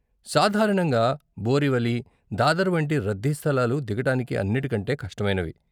సాధారణంగా బోరివలి, దాదర్ వంటి రద్దీ స్థలాలు దిగటానికి అన్నిటి కంటే కష్టమైనవి.